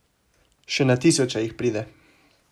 Še na tisoče jih pride.